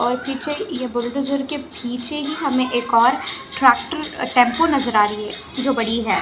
और पीछे ये बुलडोजर के पीछे ही हमें एक और ट्रेक्टर टैम्पू नजर आ रही हैं जो बड़ी हैं ।